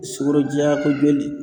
Sukoro diyakobali